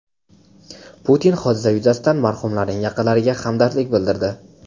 Putin hodisa yuzasidan marhumlarning yaqinlariga hamdardlik bildirdi.